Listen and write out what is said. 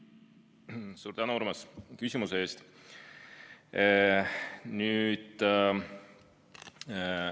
Suur tänu, Urmas, küsimuse eest!